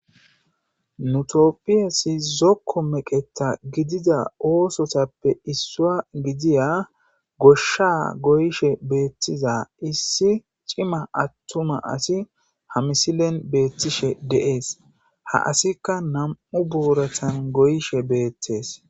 nutopphiyesi zokko meqeta gidida oosotappe issua gidiya goshsha goyshe beettiza issi cima attuma asi ha misilen beettishe deees ha asikka nam7u buuratan goyishe beettees